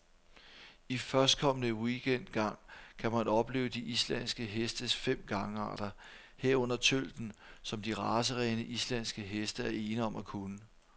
I førstkommende weekend gang kan man opleve de islandske hestes fem gangarter, herunder tølten, som de racerene, islandske heste er ene om at kunne.